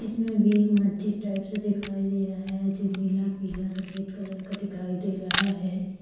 इस में भी एक मस्जिद टाइप से दिखाई दे रहा है जो नीलापीलासफेद कलर का दिखाई दे रहा है।